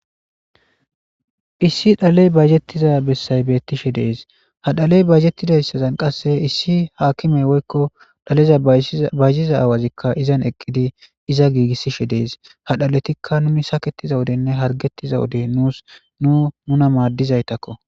Issi dhaleyi bayizetiza besayi bettishshe de'es.haa dhaleyi bayizetizayissanni qase issi akimeyi woyikko dhalezza bayiziza awazikka izanni eqidi iza gigisishe dees.haa dhalettikka nuni saketiza wodenne haarigetiza wode nusi nuu nuna madizayittakko.